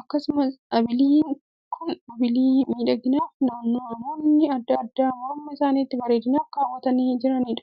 akkasumas abiliin kun abilii miidhaginaaf namoonni addaa addaa morma isaaniitti bareedinaaf kaawwatanii adeemaniidha.